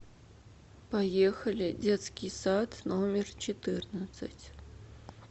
поехали детский сад номер четырнадцать